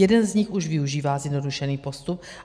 Jeden z nich už využívá zjednodušený postup.